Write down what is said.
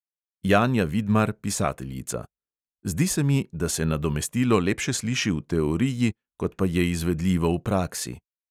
Janja vidmar, pisateljica: "zdi se mi, da se nadomestilo lepše sliši v teoriji, kot pa je izvedljivo v praksi."